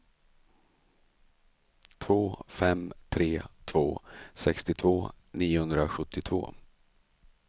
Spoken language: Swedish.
två fem tre två sextiotvå niohundrasjuttiotvå